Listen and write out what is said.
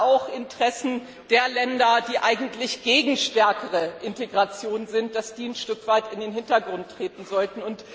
auch Interessen der Länder, die eigentlich gegen stärkere Integration sind, ein Stück weit in den Hintergrund treten sollten.